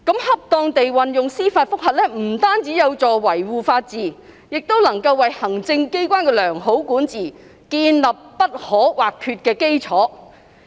恰當地運用司法覆核不僅有助於維護法治，亦能為行政機關的良好管治建立不可或缺的基礎。